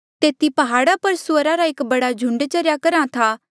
तेथी प्हाड़ा पर सुअरा रा एक बडा झुंड चरेया करहा था